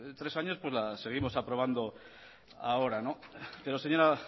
tres años pues la seguimos aprobando ahora pero señora